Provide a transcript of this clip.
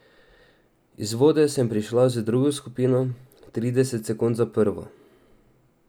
Iz vode sem prišla z drugo skupino, trideset sekund za prvo.